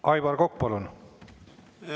Aivar Kokk, palun!